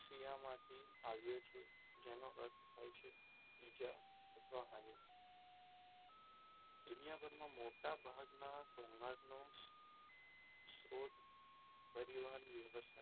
શિયામાંથી આવ્યો છે. જેનો અર્થ થાય છે ઈજા અથવા હાની. દુનિયાભરના મોટાભાગના ઘોંઘાટ નો સ્ત્રોત પરિવહન વ્યવસાય,